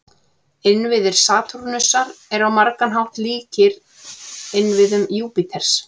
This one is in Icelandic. Innviðir Satúrnusar eru á margan hátt líkir innviðum Júpíters.